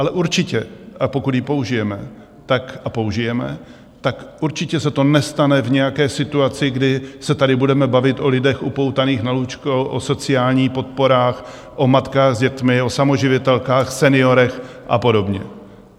Ale určitě, pokud ji použijeme, a použijeme, tak určitě se to nestane v nějaké situaci, kdy se tady budeme bavit o lidech upoutaných na lůžko, o sociální podporách, o matkách s dětmi, o samoživitelkách, seniorech a podobně.